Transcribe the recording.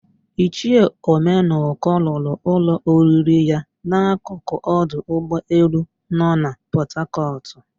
Ichie Ọmenụkọ lụrụ ụlọ oriri ya n'akụkụ ọdụ ụgbọelu no na Pọtakọtụ.